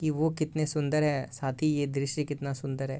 कि वो कितने सुंदर है साथ ही यह दृश्य कितना सुंदर है।